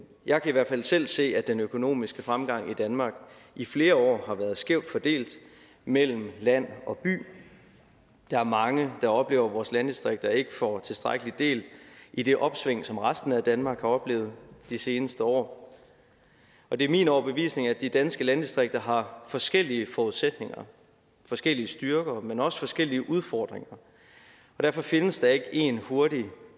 jeg kan i hvert fald selv se at den økonomiske fremgang i danmark i flere år har været skævt fordelt mellem land og by der er mange der oplever at vores landdistrikter ikke får tilstrækkelig del i det opsving som resten af danmark har oplevet de seneste år og det er min overbevisning at de danske landdistrikter har forskellige forudsætninger forskellige styrker men også forskellige udfordringer og derfor findes der ikke en hurtig